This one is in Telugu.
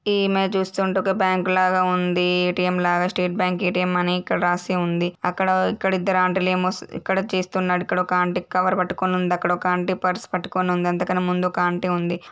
ఈ ఇమేజ్ చూస్తుంటే ఒక బ్యాంకు లాగా ఉంది ఏ_టీ_ఎం లాగా స్టేట్ బ్యాంక్ ఎ_టి_ఎం అని ఇక్కడ రాసి ఉంది అక్కడ ఇక్కడ ఇద్దరు ఆంటీ లేమొ ఇక్కడ చేస్తున్నారు ఇక్కడ ఒక ఆంటీ కవర్ పట్టుకొని ఉంది అక్కడొక ఆంటీ పర్స్ పట్టుకొని ఉంది అంతా కన్నా ముందు ఒక ఆంటీ ఉంది.